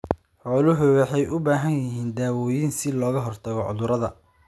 Xooluhu waxay u baahan yihiin dawooyin si looga hortago cudurrada.